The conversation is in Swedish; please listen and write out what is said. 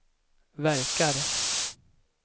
verkar